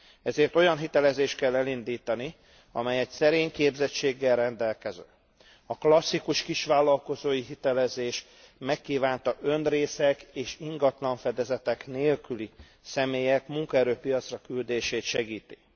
Ezért olyan hitelezést kell elindítani, amely a szerény képességgel rendelkező, a klasszikus kisvállalkozói hitelezés megkívánta önrészek és ingatlanfedezetek nélküli személyek munkaerőpiacra küldését segíti.